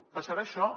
passarà això